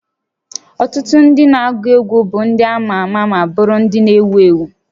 Ọtụtụ ndị na-agụ egwu bụ ndị ama ama ma bụrụ ndị ewu ewu